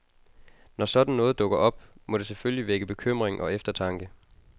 Når sådan noget dukker op, må det selvfølgelig vække bekymring og eftertanke.